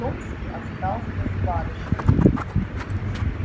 томский остался с барышнею